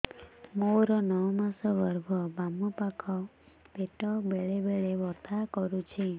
ମୋର ନଅ ମାସ ଗର୍ଭ ବାମ ପାଖ ପେଟ ବେଳେ ବେଳେ ବଥା କରୁଛି